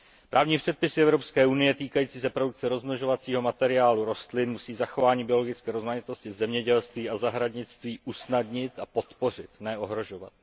Právní předpisy Evropské unie týkající se produkce rozmnožovacího materiálu rostlin musí zachování biologické rozmanitosti v zemědělství a zahradnictví usnadnit a podpořit, ne ohrožovat.